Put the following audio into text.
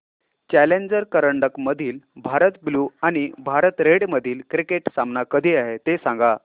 challenger करंडक मधील Bharat blue आणि भारत रेड मधील क्रिकेट सामना कधी आहे ते सांगा